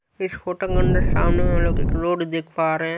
Scooter मने सामने में हम लोग एक रोड देख पा रहे हैं।